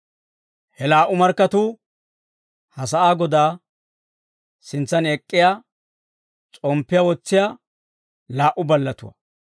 He laa"u markkatuu ha sa'aa Godaa sintsan ek'k'iyaa s'omppiyaa wotsiyaa laa"u ballatuwaa.